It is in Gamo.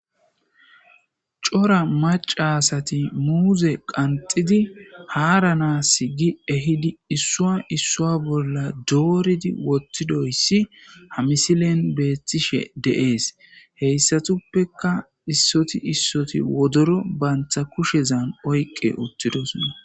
Cora maca asati muuze qanxidi haaranas gi ehidi issuwa issuwa bolla dooridi wottido issi ha misilen beethtishe de'ees. Ha asatuppeka issoti issoti wodoro banta kushezan oyqqi uttidosona.